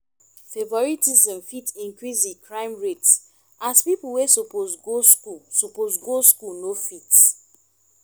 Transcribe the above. favouritism fit increase di crime rate as pipo wey suppose go school suppose go school no fit